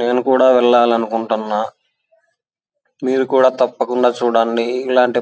నేను కూడా వేలాలనుకుంటున మీరు కూడా తప్పకుండ చుడండి.